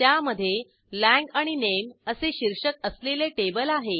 त्यामधे लांग आणि नामे असे शीर्षक असलेले टेबल आहे